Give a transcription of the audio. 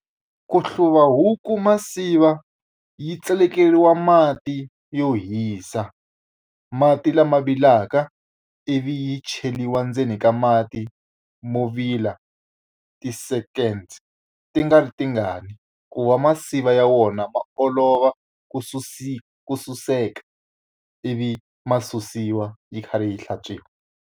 Ku hluva huku tinsiva yi tselekeriwa mati yo hisa. Mati lama vilelaka ivi yi cheriwa endzeni ka mati mo vile ya ti-second ti nga ri tingani, ku va tinsiva ya wona ma olova ku ku suseka. Ivi ma susiwa yi kharhi yi hlantswiwa.